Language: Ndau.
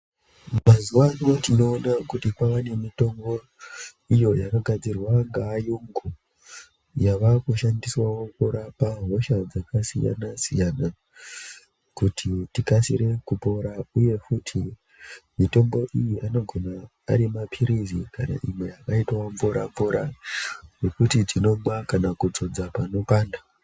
Mazuva ano tinoona kuti kwava nemitombo iyo yakagadzirwa ngeayungu. Yavakushandiswavo kurapa hosha dzakasiyana-siyana, kuti tikasire kupora, uye futi mitombo iyi anogona ari maphirizi kana imwe yakaitavo mvura-mvura yekuti tinomwa kana kudzodza panopanda.